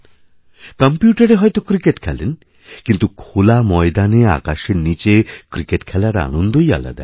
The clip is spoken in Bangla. কম্প্যুটারে হয়ত ক্রিকেট খেলেনকিন্তু খোলা ময়দানে আকাশের নীচে ক্রিকেট খেলার আনন্দই আলাদা